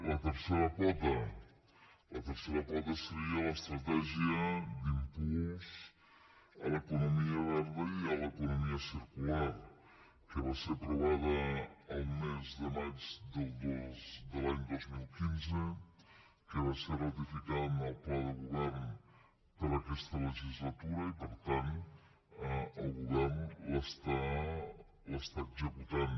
la tercera pota la tercera pota seria l’estratègia d’impuls a l’economia verda i a l’economia circular que va ser aprovada el mes de maig de l’any dos mil quinze que va ser ratificada en el pla de govern per a aquesta legislatura i per tant el govern l’està executant